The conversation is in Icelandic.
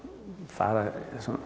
fara